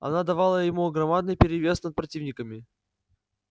она давала ему громадный перевес над противниками